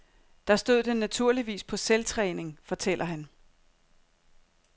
Der stod den naturligvis på selvtræning, fortæller han.